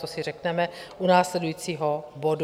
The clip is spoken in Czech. To si řekneme u následujícího bodu.